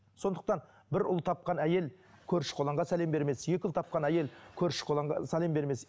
сондықтан бір ұл тапқан әйел көрші құланға сәлем бермес екі ұл тапқан әйел көрші құланға сәлем бермес